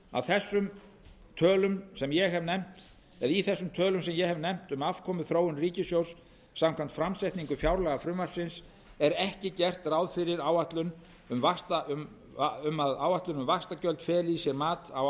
að í þessum tölum sem ég hef nefnt um afkomuþróun ríkissjóðs samkvæmt framsetningu fjárlagafrumvarpsins er ekki gert ráð fyrir að áætlun um vaxtagjöld feli í sér mat á